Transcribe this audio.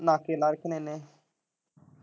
ਨਾਕੇ ਲਾਏ ਧਨੇਵੇ।